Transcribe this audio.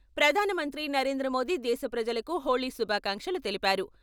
ప్రధానమంత్రి నరేంద్రమోదీ దేశప్రజలకు హోళీ శుభాకాంక్షలు తెలిపారు.